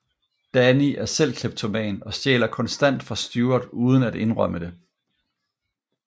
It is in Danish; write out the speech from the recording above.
Danny er selv kleptoman og stjæler konstant fra Stewart uden at indrømme det